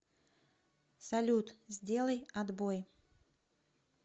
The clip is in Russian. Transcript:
салют сделай отбой